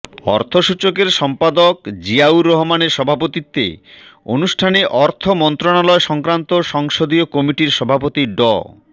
অর্থসূচকের সম্পাদক জিয়াউর রহমানের সভাপতিত্বে অনুষ্ঠানে অর্থ মন্ত্রণালয় সংক্রান্ত সংসদীয় কমিটির সভাপতি ড